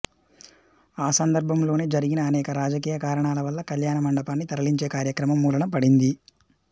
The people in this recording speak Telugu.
ఆ సందర్భంలోనే జరిగిని అనేక రాజకీయ కారణాల వల్ల కళ్యాణ మండపాన్ని తరలించే కార్యక్రమం మూలన పడింది